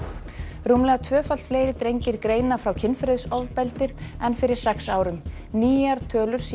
rúmlega tvöfalt fleiri drengir greina frá kynferðisofbeldi nú en fyrir sex árum nýjar tölur sýna